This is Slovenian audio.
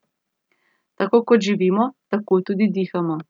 Tako kot živimo, tako tudi dihamo.